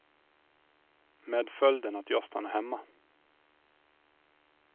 Med följden att jag stannar hemma.